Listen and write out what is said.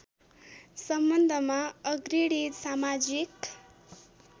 सम्बन्धमा अग्रणी समाजिक